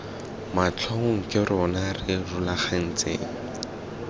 matlhong ke rona re rulaganyetsang